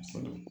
A kɔnɔ